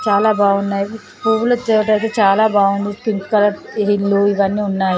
చాలా బాగున్నాయి. పువ్వుల తోట అయితే చాలా బాగుంది. పింక్ కలర్ ఇల్లు ఇవన్నీ ఉన్నాయి.